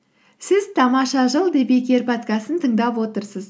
сіз тамаша жыл подкастын тыңдап отырсыз